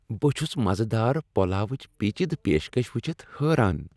بہٕ چُھس مزٕدار پلاو چِ پیچیدٕ پیشکش ؤچِھتھ حیران۔